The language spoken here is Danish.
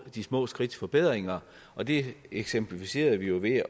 de små skridts forbedringer og det eksemplificerede vi jo ved at